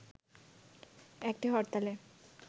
একটি হরতালে